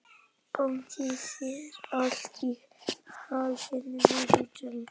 Gangi þér allt í haginn, Vilmundur.